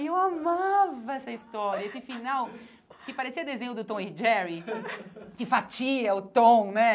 E eu amava essa história, esse final que parecia desenho do Tom e Jerry, que fatia o Tom, né?